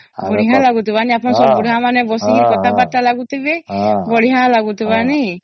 ବଢିଆ ଲାଗୁଥିବା ନାଇଁ ଆପଣ ସବୁ ବୁଢା ମାନେ ବସିକି କଥା ବାର୍ତା ଲାଗୁଥିବେ ବଢିଆ ଲାଗୁଥିବା ନାଇଁ